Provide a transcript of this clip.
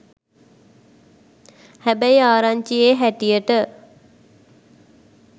හැබැයි ආරංචියෙ හැටියට